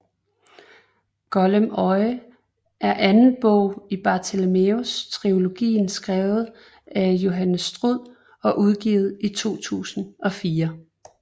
Golem øje er anden bog i Bartimæus trilogien skrevet af Jonathan Stroud og udgivet i 2004